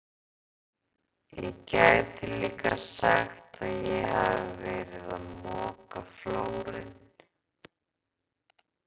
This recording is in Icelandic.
Ég gæti líka sagt að ég hafi verið að moka flórinn.